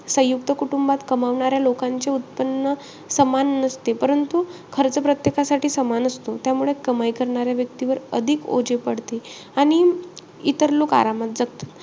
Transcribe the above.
सयुंक्त कुटुंबात कमावणाऱ्या लोकांचे उत्पन्न समान नसते. परंतु खर्च प्रत्येकासाठी समान असतो. त्यामुळे कमाई करणाऱ्या व्यक्तीवर अधिक ओझे पडते. आणि इतर लोक आरामात जगतात.